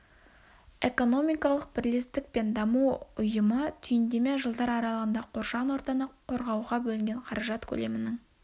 экономикалық бірлестік пен даму ұйымы түйіндеме жылдар аралығында қоршаған ортаны қорағауға бөлінген қаражат көлемінің